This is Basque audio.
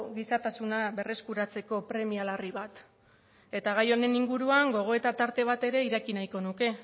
gizatasuna berreskuratzeko premia larri bat eta gai honen inguruan gogoeta tarte bat ere eraiki nahiko nuke